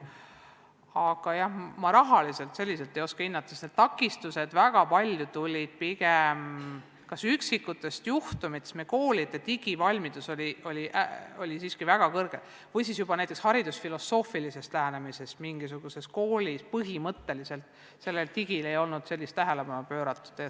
Aga jah, rahaliselt ei oska ma hinnata, sest takistused tulid väga paljuski pigem üksikutest juhtumitest – meie koolide üldine digivalmidus on siiski väga suur – või siis näiteks haridusfilosoofilisest lähenemisest, kui mingisuguses koolis põhimõtteliselt ei olnud digitaalsele küljele tähelepanu pööratud.